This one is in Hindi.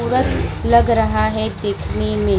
पूरा लग रहा है देखने में और --